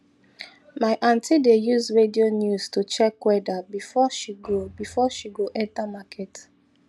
my aunty dey use radio news to check weather before she go before she go enter market